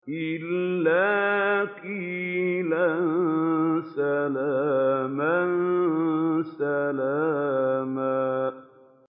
إِلَّا قِيلًا سَلَامًا سَلَامًا